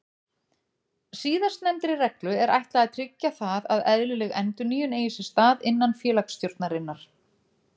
Síðastnefndri reglu er ætlað að tryggja það að eðlileg endurnýjun eigi sér stað innan félagsstjórnarinnar.